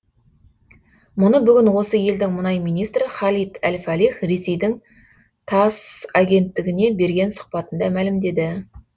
мұны бүгін осы елдің мұнай министрі халид әл фалих ресейдің тасс агенттігіне берген сұқбатында мәлімдеді